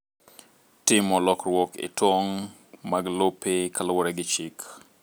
Timo lokruok e tong' mag lope kaluwore gi chik.